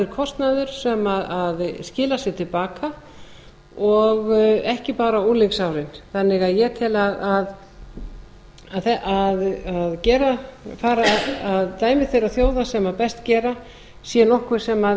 kostnaður sem skilar sér til baka og ekki bara unglingsárin ég tel því að það að fara að dæmi meira þjóða sem best gera sé nokkuð sem